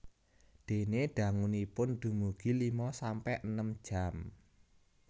Dene dangunipun dumugi lima sampe enem jam